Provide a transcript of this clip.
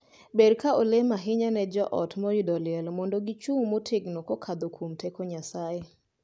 Ber ka olem ahinya ne joot moyudo liel mondo gichung' motegno kokadho kuom teko Nyasaye.